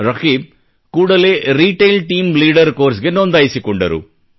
ರಕೀಬ್ ಕೂಡಲೇ retail team leader ಕೋರ್ಸ್ಗೆ ನೊಂದಾಯಿಸಿಕೊಂಡರು